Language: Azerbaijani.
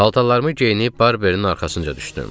Paltarlarımı geyinib Barbeinin arxasınca düşdüm.